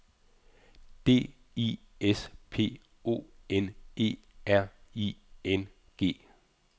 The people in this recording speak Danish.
D I S P O N E R I N G